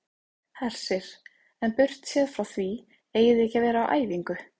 Hersir: En burtséð frá því eigið þið ekki að vera á æfingu?